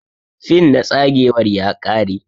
fin na tsagewar ya kare.